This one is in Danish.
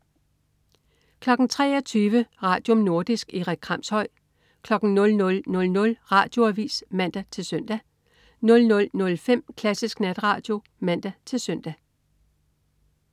23.00 Radium. Nordisk. Erik Kramshøj 00.00 Radioavis (man-søn) 00.05 Klassisk Natradio (man-søn)